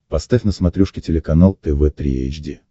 поставь на смотрешке телеканал тв три эйч ди